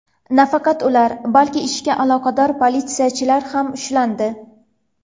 Nafaqat ular, balki ishga aloqador politsiyachilar ham ushlandi.